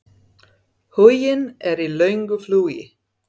Huginn er í löngu flugi.